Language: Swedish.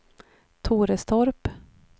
Torestorp